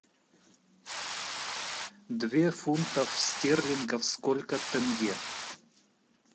две фунтов стерлингов сколько тенге